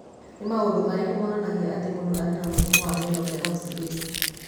Nĩ maũndũ marĩkũ monanagia atĩ mũndũ arĩ na mũrimũ wa Myeloperoxidase?